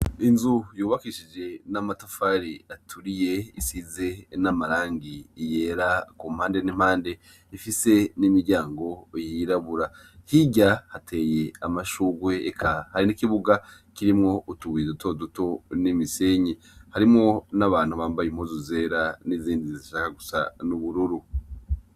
Inzu yubakishije n'amatafari aturiye, isize n'amarangi yera ku mpande n'impande; ifise n'imiryango yirabura. Hirya hateye amashurwe, eka hari n'ikibuga kirimwo utubuye duto duto n'imisenyi. Harimwo n'abantu bambaye impuzu zera n'izindi zishaka gusa n'ubururu.